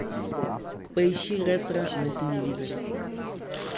поищи ретро на телевизоре